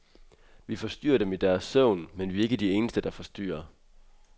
Vi forstyrrer dem i deres søvn, men vi er ikke de eneste, der forstyrrer.